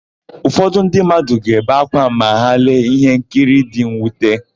Ụfọdụ ndị mmadụ ga-ebe ákwá ma ha lee íhénkiri dị nnwute.